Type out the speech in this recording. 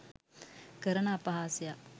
කරන අපහාසයක්.